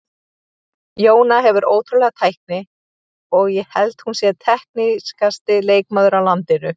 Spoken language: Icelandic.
Jóna hefur ótrúlega tækni og ég held hún sé teknískasti leikmaður á landinu.